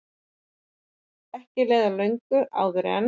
Ekki leið á löngu áður en